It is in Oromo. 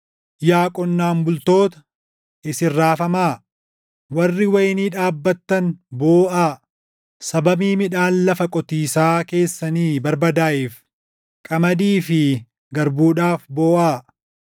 Yaa qonnaan bultoota, isin raafamaa; warri wayinii dhaabbattan booʼaa; sababii midhaan lafa qotiisaa keessanii barbadaaʼeef qamadii fi garbuudhaaf booʼaa.